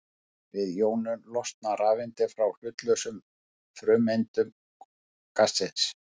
Við jónun losna rafeindir frá hlutlausum frumeindum gassins.